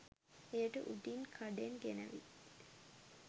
එයට උඩින් කඩෙන් ගෙනැවිත්